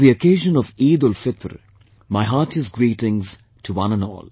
On the occasion of EidulFitr, my heartiest greetings to one and all